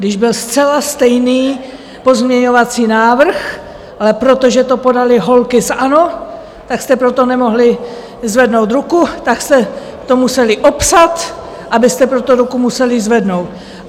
Když byl zcela stejný pozměňovací návrh, ale protože to podaly holky z ANO, tak jste pro to nemohli zvednout ruku, tak jste to museli opsat, abyste pro to ruku mohli zvednout.